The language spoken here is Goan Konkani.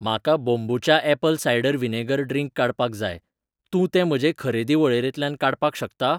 म्हाका बोंबुचा ऍपल सायडर व्हिनेगर ड्रिंक काडपाक जाय, तूं तो म्हजे खरेदी वळेरेंतल्यान काडपाक शकता?